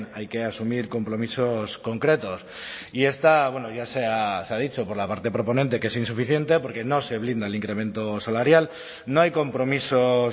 hay que asumir compromisos concretos y esta ya se ha dicho por la parte proponente que es insuficiente porque no se blinda el incremento salarial no hay compromisos